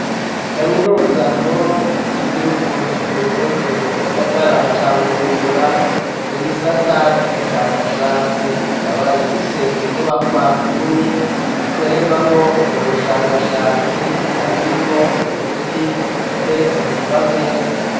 Kamunuza nkuru y'igihugu c'uburundi mu gisagara ca Bujumbura mu gisata c'ubushakashatsi ikaba ifise inyubakwa nini ikorerwamwo ubwo bushakashatsi ikaba irimwo imiti iteretse ku mameza.